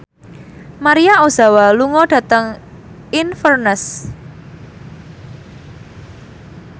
Maria Ozawa lunga dhateng Inverness